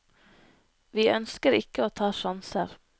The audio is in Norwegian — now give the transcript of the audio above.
Vi ønsker ikke å ta sjanser.